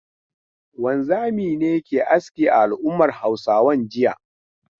Wanzami ne ke aski a al'ummar Hausawan jiya.